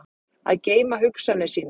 Að geyma hugsanir sínar